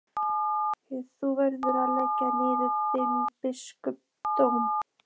Þú verður að leggja niður þinn biskupsdóm!